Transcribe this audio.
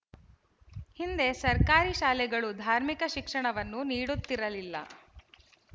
ಹಿಂದೆ ಸರ್ಕಾರಿ ಶಾಲೆಗಳು ಧಾರ್ಮಿಕ ಶಿಕ್ಷಣವನ್ನು ನೀಡುತ್ತಿರಲಿಲ್ಲ